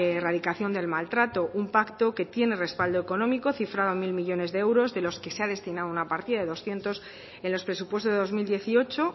erradicación del maltrato un pacto que tiene respaldo económico cifrado en mil millónes de euros de los que se ha destinado una partida de doscientos en los presupuestos de dos mil dieciocho